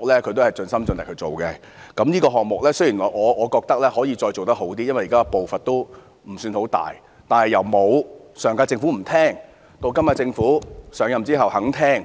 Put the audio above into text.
雖然我認為這項目可以做得更好，現時的步伐未算太大，但由上屆政府不願意聆聽，直至今屆政府上任後願意聆聽，